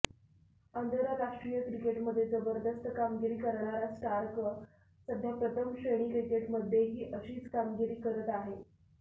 आंतरराष्ट्रीय क्रिकेटमध्ये जबरदस्त कामगिरी करणारा स्टार्क सध्या प्रथम श्रेणी क्रिकेटमध्येही अशीच कामगिरी करत आहे